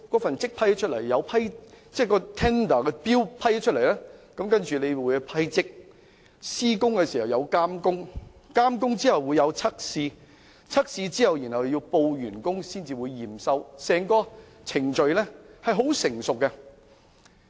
審批標書後要審批圖則，施工時亦有監工，監工後會有測試，測試後要報告完工才會驗收，整個程序是很成熟的。